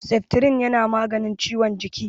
Seftirin yana maganin ciwon jiki.